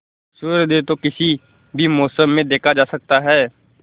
सूर्योदय तो किसी भी मौसम में देखा जा सकता है